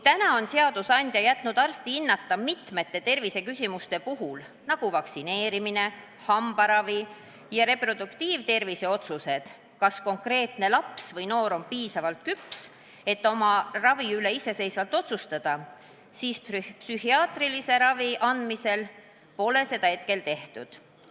Täna on seadusandja jätnud mitmete terviseküsimuste, näiteks vaktsineerimise, hambaravi ja reproduktiivtervise otsuste puhul arsti hinnata, kas konkreetne laps või noor on ikka piisavalt küps, et oma ravi üle iseseisvalt otsustada, seevastu psühhiaatrilise ravi andmisel pole seda hetkel tehtud.